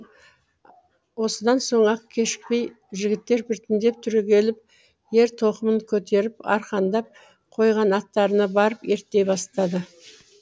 осыдан соң ақ кешікпей жігіттер біртіндеп түрегеліп ер тоқымын көтеріп арқандап қойған аттарына барып ерттей бастады